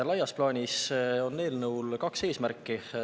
Laias plaanis on eelnõul kaks eesmärki.